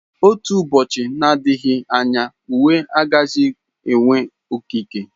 Otu ụbọchị, nadịghị anya uwe agaghịzi enwe okike.